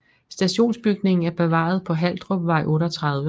Stationsbygningen er bevaret på Haldrupvej 38